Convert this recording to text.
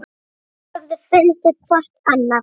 Þau höfðu fundið hvort annað.